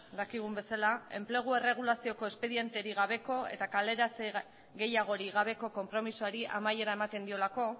dakigun bezala enplegu erregulazioko espedienterik gabeko eta kaleratze gehiagorik gabeko konpromisoari amaiera ematen diolako